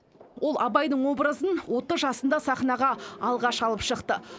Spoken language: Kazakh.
ол абайдың образын отыз жасында сахнаға алғаш алып шықты